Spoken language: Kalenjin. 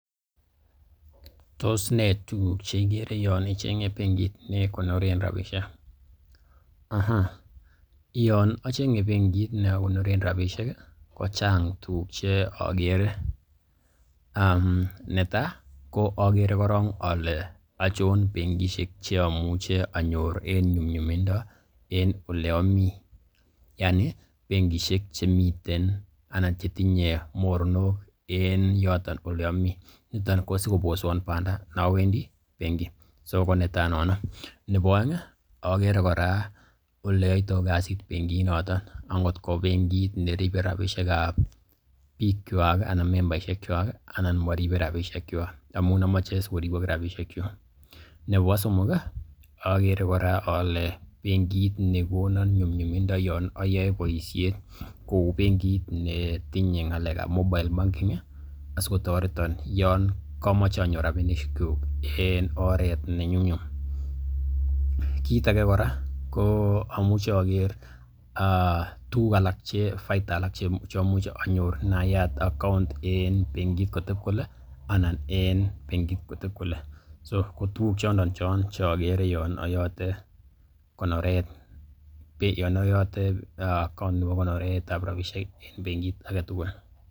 Tos nee tuguuk che igere yon icheng'e benkit ne konoren rabisiek? Yon acheng'e benkit ne akonoren rabishek ko chang tuguk che ogere, netai ogere korong ole achon bengishek che amuche anyor en nyumnyumindo en ole omi? Yaani bengishek chemiten anan che tinye mornook en yoton ole ami? Niton ko sikoboswon banda ne owendi benki so ko netai nono. Nebo oeng agere kora oleyoitoi kasit benginoto. Angotko bengit ne ripe rabishek ab biikywak anan memberishek kywak anan moripe rabishekwak? Amun omoche asikoribok rabishekyuk. Nebo somok ogere kora ole bengit ne konon nyumnyumindo yon oyoe boisiet kou bengit netinye ng'alek ab mobile banking asikotoreton yonkomoche anyor rabishek kyuk en oret ne nyumnyum. Kit age kora amuchi ogere tuguk alak anan faida che imuch anyor inayat account en bengit koteb kole anan en bengit koteb kole. So ko tuguk chondon che ogere yon ayote account nebo konoret ab rabishek en bengit age tugul.